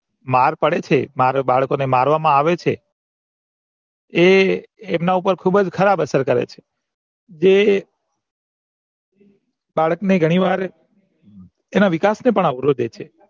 માર પડે છે માર બાળકોને મરવામો આવે છે એ એમના ઉપર ખુબજ ખરાબ અસર કરે છે જે બાળક ને ગણી વાર એના વિકાસ ને પણ અવરોધે છે